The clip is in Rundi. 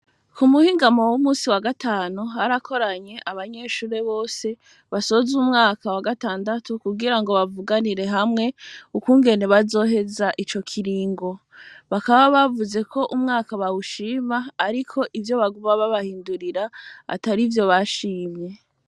Ku muhingamo, w'umunsi wa gatanu, harakoranye, abanyeshure bose, basoza umwaka wa gatandatu, kugira ngo bavuganire hamwe, ukungene, bazoheza ico kiringo; bakaba bavuze ko, umwaka bawushima, ariko, ivyo baguma, babahindurira, atarivyo bashimye.